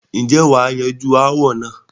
ǹjẹ́ wà á yanjú ááwọ̀ náà?